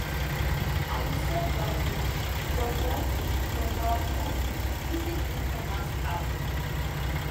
i dey sell dry fish from dry fish from our pond using ecommerce app